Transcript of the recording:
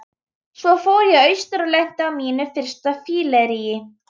Svo fór ég austur og lenti á mínu fyrsta fylleríi.